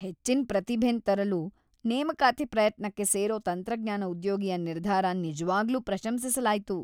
ಹೆಚ್ಚಿನ್ ಪ್ರತಿಭೆನ್ ತರಲು ನೇಮಕಾತಿ ಪ್ರಯತ್ನಕ್ಕೆ ಸೇರೋ ತಂತ್ರಜ್ಞಾನ ಉದ್ಯೋಗಿಯ ನಿರ್ಧಾರನ್ ನಿಜ್ವಾಗ್ಲೂ ಪ್ರಶಂಸಿಸಲಾಯ್ತು.